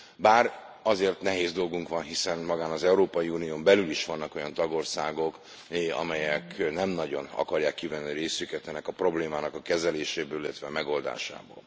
Bár azért nehéz dolgunk van, hiszen magán az Európai Unión belül is vannak olyan tagországok, amelyek nem nagyon akarják kivenni a részüket ennek a problémának a kezeléséből, illetve a megoldásából.